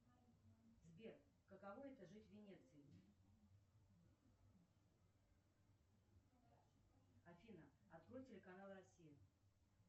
сбер каково это жить в венеции афина открой телеканал россия